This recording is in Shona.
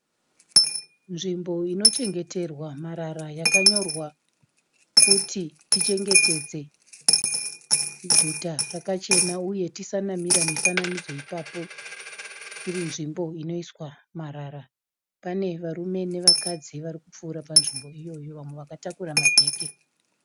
Nzvimbo inochengeterwa marara yakanyorwa kuti tichengetedze guta rakachena uye tisanamatira mifananidzo ipapo, iri nzvimbo inoiswa marara. Pane varume nevakadzi vari kupfuura panzvimbo iyoyo, vamwe vakatakura mabheke.